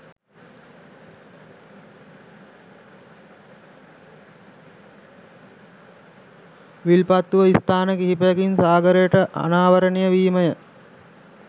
විල්පත්තුව ස්ථාන කිහිපයකින් සාගරයට අනාවරණය වීමය